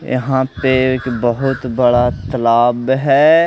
यहां पे एक बहोत बड़ा तलाब है।